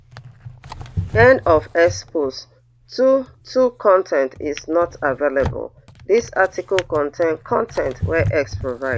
end of x post two two con ten t is not available dis article contain con ten t wey x provide